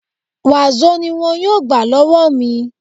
Wàsó ni wọn yóò gbà lọ́wọ́ mi